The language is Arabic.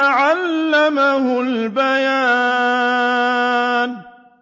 عَلَّمَهُ الْبَيَانَ